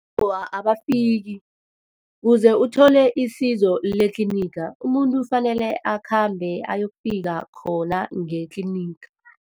Awa, abafiki. Kuze uthole isizo letlinigi, umuntu kufanele akhambe ayokufika khona ngetlinigi.